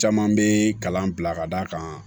Caman bɛ kalan bila ka d'a kan